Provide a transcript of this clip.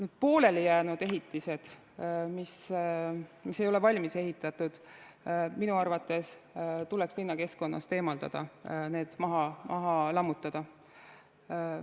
Need poolelijäänud ehitised, mis ei ole valmis ehitatud, tuleks minu arvates linnakeskkonnast eemaldada, maha lammutada.